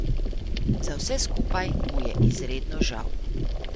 Za vse skupaj mu je izredno žal ...